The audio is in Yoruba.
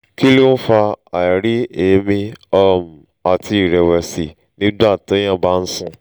kí ló ń fa àìrí ẹ̀mí um àti ìrẹ̀wẹ̀sì nígbà téèyàn bá ń sùn?